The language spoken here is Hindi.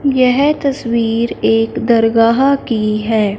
यह तस्वीर एक दरगाह की है।